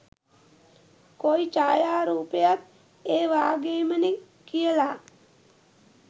කොයි ඡායා රූපයත් ඒ වගේමනේ කියලා.